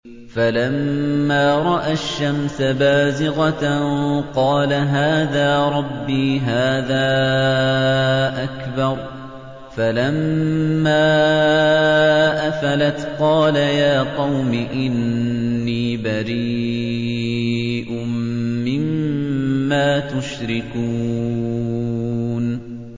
فَلَمَّا رَأَى الشَّمْسَ بَازِغَةً قَالَ هَٰذَا رَبِّي هَٰذَا أَكْبَرُ ۖ فَلَمَّا أَفَلَتْ قَالَ يَا قَوْمِ إِنِّي بَرِيءٌ مِّمَّا تُشْرِكُونَ